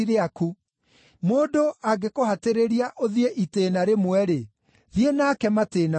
Mũndũ angĩkũhatĩrĩria ũthiĩ itĩĩna rĩmwe-rĩ, thiĩ nake matĩĩna meerĩ.